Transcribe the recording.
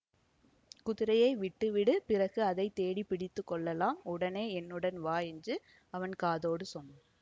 குதிரையை விட்டுவிடு பிறகு அதை தேடிப்பிடித்துக் கொள்ளலாம் உடனே என்னுடன் வா என்று அவன் காதோடு சொன்னான்